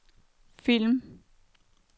film